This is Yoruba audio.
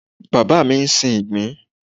Bàbá mi ń sin ìgbín.